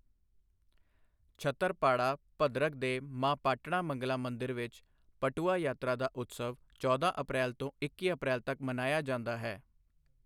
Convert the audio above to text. ਛਤਰਪਾੜਾ, ਭਦਰਕ ਦੇ ਮਾਂ ਪਾਟਣਾ ਮੰਗਲਾ ਮੰਦਿਰ ਵਿੱਚ, ਪਟੁਆ ਯਾਤਰਾ ਦਾ ਉਤਸਵ ਚੌਦਾਂ ਅਪ੍ਰੈਲ ਤੋਂ ਇੱਕੀ ਅਪ੍ਰੈਲ ਤੱਕ ਮਨਾਇਆ ਜਾਂਦਾ ਹੈ।